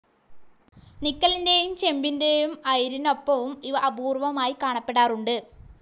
നിക്കലിൻ്റെയും ചെമ്പിൻ്റെയും ആയിരിനൊപ്പവും ഇവ അപൂർവമായി കാണപ്പെടാറുണ്ട്.